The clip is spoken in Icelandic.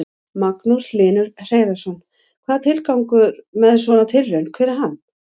Magnús Hlynur Hreiðarsson: Hvað, tilgangur með svona tilraun, hver er hann?